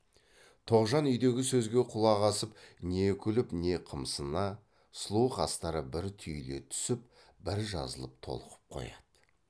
тоғжан үйдегі сөзге құлақ асып не күліп не қымсына сұлу қастары бір түйіле түсіп бір жазылып толқып қояды